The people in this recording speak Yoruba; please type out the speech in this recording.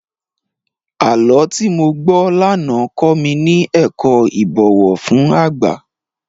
Àlọ́ tí mo gbọ́ lánàá kọ mi ní ẹ̀kọ́ ìbọ̀wọ̀ fún àgbà.